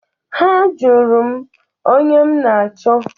Ha jụrụ m onye m na-achọ.